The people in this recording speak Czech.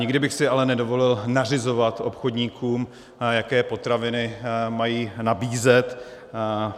Nikdy bych si ale nedovolil nařizovat obchodníkům, jaké potraviny mají nabízet.